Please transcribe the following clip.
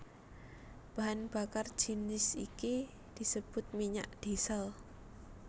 Bahan bakar jinis iki disebut minyak diesel